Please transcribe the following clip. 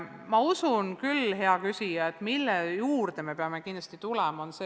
Ma usun küll, hea küsija, et tean, mille juurde me peame kindlasti tagasi tulema.